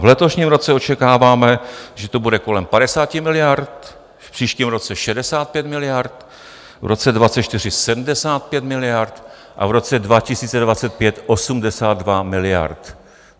V letošním roce očekáváme, že to bude kolem 50 miliard, v příštím roce 65 miliard, v roce 2024 75 miliard a v roce 2025 82 miliard.